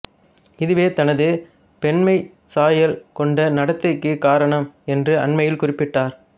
இதுவே தனது பெண்மை சாயல் கொண்ட நடத்தைக்கு காரணம் என்று அண்மையில் குறிப்பிட்டார்